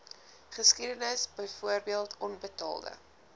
geskiedenis byvoorbeeld onbetaalde